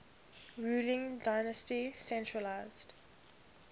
ruling dynasty centralised